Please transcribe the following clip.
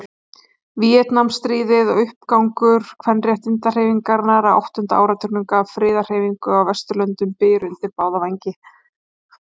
Víetnamstríðið og uppgangur kvenréttindahreyfingarinnar á áttunda áratugnum gaf friðarhreyfingum á Vesturlöndum byr undir báða vængi.